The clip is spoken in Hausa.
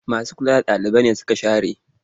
Masu kula da ɗalibai nesuka share.